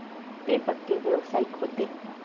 ते पक्के व्यावसायिक होते.